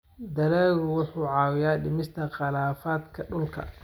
Dalaggu wuxuu caawiyaa dhimista khilaafaadka dhulka.